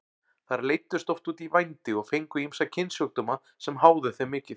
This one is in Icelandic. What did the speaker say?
Þær leiddust oft út í vændi og fengu ýmsa kynsjúkdóma sem háðu þeim mikið.